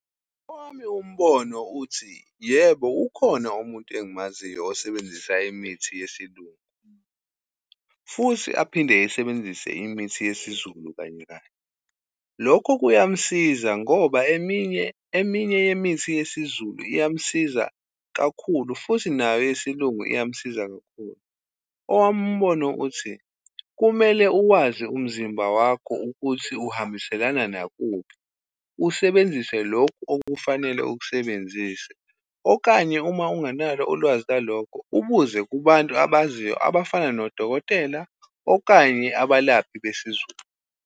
Owami umbono uthi yebo, ukhona umuntu engimaziyo osebenzisa imithi yesilungu, futhi aphinde esebenzise imithi yesizulu kanye-kanye. Lokho kuyamsiza ngoba eminye, eminye yemithi yesiZulu iyamsiza kakhulu futhi nayo yesilungu iyamsiza kakhulu. Owami umbona uthi, kumele uwazi umzimba wakho ukuthi uhambiselana nakuphi usebenzise lokhu okufanele ukusebenzise, okanye uma unganalo ulwazi lwalokho ubuze kubantu abaziyo, abafana nodokotela okanye abalaphi besiZulu.